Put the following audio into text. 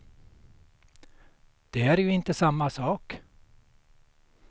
Det är ju inte samma sak.